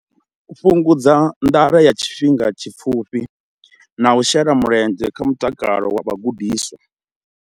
Fhungudza nḓala ya tshifhinga tshipfufhi na u shela mulenzhe kha mutakalo wa vhagudiswa.